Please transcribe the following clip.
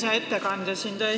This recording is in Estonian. Hea ettekandja!